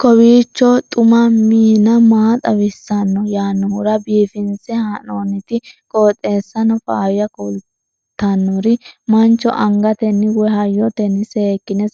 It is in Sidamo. kowiicho xuma mtini maa xawissanno yaannohura biifinse haa'noonniti qooxeessano faayya kultannori mancho angatenni woy hayyotenni seekkine